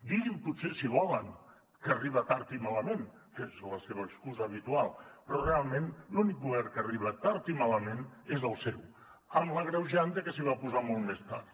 diguin potser si volen que arriba tard i malament que és la seva excusa habitual però realment l’únic govern que ha arribat tard i malament és el seu amb l’agreujant que s’hi va posar molt més tard